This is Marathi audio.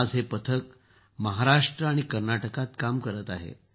आज हे पथक महाराष्ट्र आणि कर्नाटकात काम करत आहे